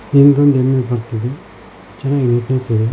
ಹಿಂದೊಂದ್ ಎಮ್ಮಿ ಬರ್ತಾ ಇದೆ ಚೆನ್ನಾಗಿದೆ ಪ್ಲೇಸ್ .